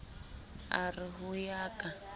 a re ho ya ka